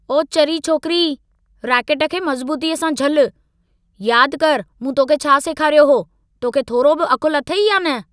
ओ चरी छोकिरी। रैकेट खे मज़बूतीअ सां झलु। यादि करि, मूं तोखे छा सेखारियो हो। तोखे थोरो बि अक़ुल अथई या न?